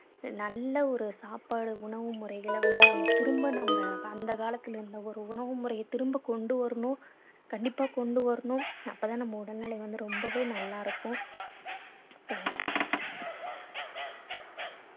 அஹ் நல்ல ஒரு சாப்பாடு உணவு முறைகளை வந்து நம்ம திரும்ப நம்ம அந்த காலத்துல இருந்த ஒரு உணவு முறைய திரும்ப கொண்டு வரணும் கண்டிப்பா கொண்டு வரணும் அப்பதான் நம்ம உடல்நிலை வந்து ரொம்பவே நல்லா இருப்போம் thank you